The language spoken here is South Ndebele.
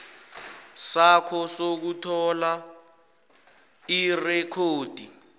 sakho sokuthola irekhodi